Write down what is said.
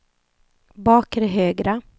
bakre högra